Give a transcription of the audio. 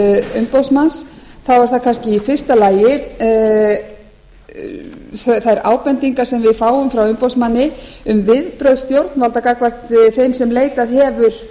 umboðsmanns þá er það kannski í fyrsta lagi þær ábendingar sem við fáum frá umboðsmanni um viðbrögð stjórnvalda gagnvart þeim sem leita hefur